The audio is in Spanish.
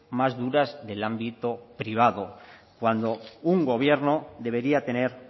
más duras del ámbito privado cuando un gobierno debería tener